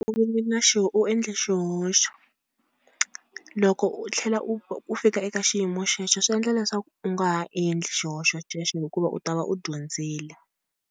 u endle xihoxo loko u tlhela u fika eka xiyimo xexo swi endla leswaku u nga ha endli xihoxo xexo hikuva u ta va u dyondzile.